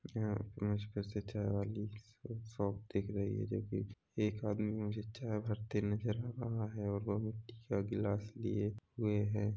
यहाँ पे मुझ को ऐसी चाय वाली शॉप दिख रही है जोकि एक आदमी उसमे चाय भरते नज़र आ रहा वह मिट्टी का गिलास लिए हुए है।